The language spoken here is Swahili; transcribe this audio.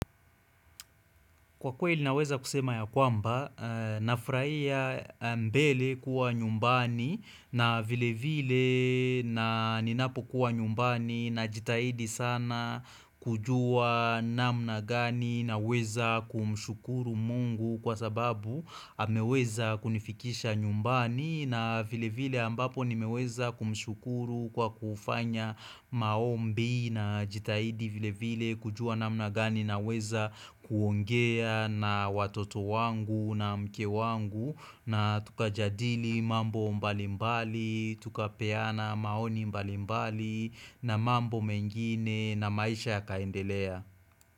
Kwa kweli naweza kusema ya kwamba, nafurahia mbele kuwa nyumbani na vile vile na ninapo kuwa nyumbani na jitahidi sana kujua namna gani na weza kumshukuru mungu kwa sababu ameweza kunifikisha nyumbani na vile vile ambapo ni meweza kumshukuru kwa kufanya maombi na jitahidi vile vile kujua namna gani na weza kuongea. Na watoto wangu na mke wangu na tukajadili mambo mbalimbali tukapeana maoni mbalimbali na mambo mengine na maisha ya kaendelea.